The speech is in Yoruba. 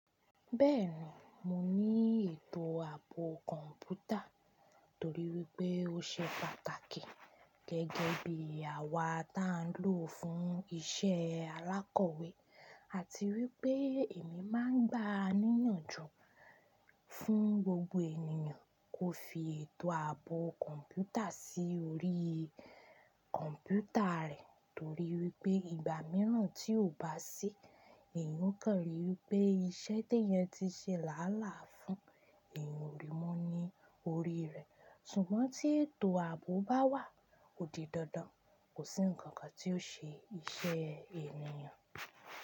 Bẹ́ẹ̀ni, mo ní ètò àbò kọ̀mpútà torí wípé ó ṣe pàtàkì gẹ́gẹ́ bí àwa tá ń lò ó fún isẹ́ alákọ̀wé àti wípé èmi máa ń gbà á níyànjú fún gbogbo ènìyàn kó fi ètò àbò kọ̀mpútà sí orí kọ̀mpútà rẹ̀ torí wípé ìgbà mìíràn tí ó bá sí èèyàn kàn rí i wípé iṣẹ́ tí èèyàn ti ṣe láàlá fún èèyàn ò rí mọ́ ní orí rẹ̀. Ṣùgbọ́n tí ètò àbò bá wà, ó di dandan kó sí ǹnkan kan tí ó ṣe iṣẹ́ èèyàn.